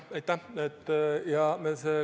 Aitäh!